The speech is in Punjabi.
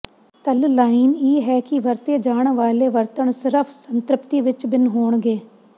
ਤਲ ਲਾਈਨ ਇਹ ਹੈ ਕਿ ਵਰਤੇ ਜਾਣ ਵਾਲੇ ਵਰਣਨ ਸਿਰਫ ਸੰਤ੍ਰਿਪਤੀ ਵਿੱਚ ਭਿੰਨ ਹੋਣਗੇ